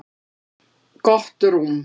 Gott rúm